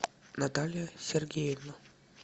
наталья сергеевна